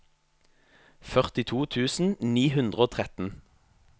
førtito tusen ni hundre og tretten